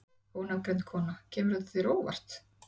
Ónafngreind kona: Kemur þetta þér á óvart?